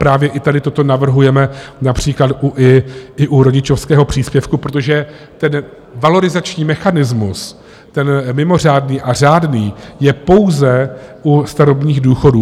Právě i tady toto navrhujeme například i u rodičovského příspěvku, protože ten valorizační mechanismus, ten mimořádný a řádný, je pouze u starobních důchodů.